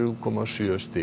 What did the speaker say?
að stærð